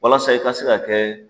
Walasa i ka se ka kɛ